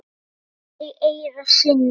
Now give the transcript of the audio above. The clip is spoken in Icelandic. sagðir í eyra syni.